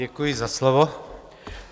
Děkuji za slovo.